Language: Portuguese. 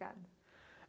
Obrigada.